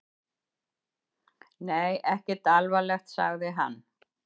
Nei, ekkert alvarlegt, sagði hann.